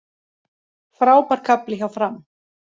Frábær kafli hjá Fram